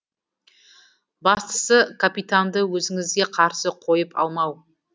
бастысы капитанды өзіңізге қарсы қойып алмау